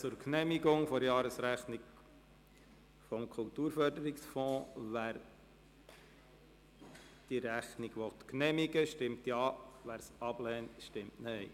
Wer die Jahresrechnung des Kulturförderungsfonds genehmigen will, stimmt Ja, wer dies ablehnt, stimmt Nein.